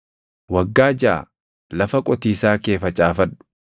“Waggaa jaʼa lafa qotiisaa kee facaafadhu; midhaanis galfadhu;